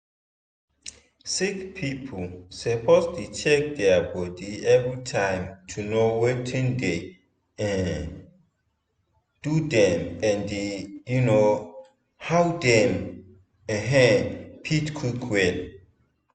sick people suppose dey check their body everytime to know watin dey um do dem and um how dem um fit quick well.